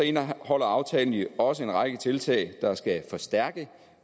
indeholder aftalen også en række tiltag der skal forstærke